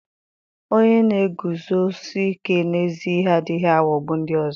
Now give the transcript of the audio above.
onye na-eguzosi ike n'ezi ihe adịghị aghọgbu ndị ọzọ.